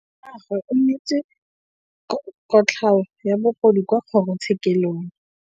Rragwe o neetswe kotlhaô ya bogodu kwa kgoro tshêkêlông.